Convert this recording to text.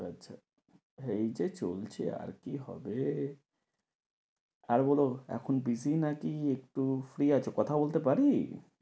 আচ্ছা, হ্যাঁ এইযে চলছে আর কি হবে? আর বলো এখন busy নাকি একটু free আছো, কথা বলতে পারবি?